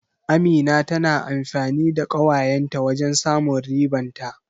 Amina tana amfani da ƙawayen ta wajen samun riban ta.